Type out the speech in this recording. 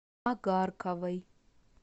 агарковой